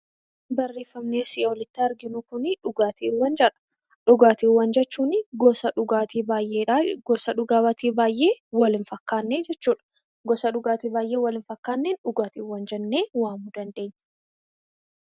Dhugaatiiwwan jechuun gosa dhugaatii baay'eedha. Dhugaatii baay'ee wal hin fakkaanne jechuudha. Gosa dhugaatii baay'ee wal hin fakkaanneen dhugaatiiwwan jennee waamuu dandeenya.